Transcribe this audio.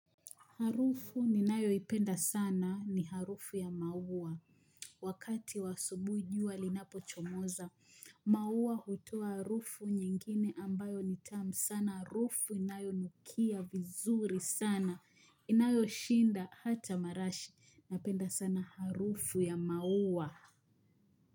Harufu ninayoipenda sana ni harufu ya maua. Wakati wa asubuhi jua linapochomoza, maua hutoa harufu nyingine ambayo ni tamu sana. Harufu inayonukia vizuri sana. Inayo shinda hata marashi. Napenda sana harufu ya maua.